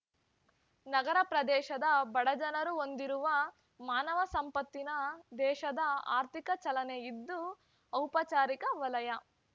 ನಗರ ಪ್ರದೇಶದ ಬಡಜನರು ಹೊಂದಿರುವ ಮಾನವ ಸಂಪತ್ತಿನಿಂದ ದೇಶದ ಆರ್ಥಿಕ ಚಲನೆಯಿದ್ದು ಔಪಚಾರಿಕ ವಲಯ